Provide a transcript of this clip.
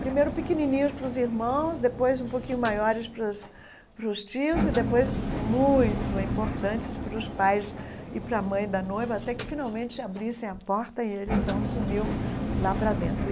Primeiro pequenininhos para os irmãos, depois um pouquinho maiores para os para os tios, e depois muito importantes para os pais e para a mãe da noiva, até que finalmente abrissem a porta e ele então sumiu lá para dentro.